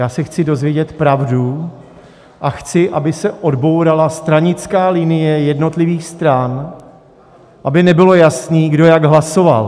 Já se chci dozvědět pravdu a chci, aby se odbourala stranická linie jednotlivých stran, aby nebylo jasné, kdo jak hlasoval.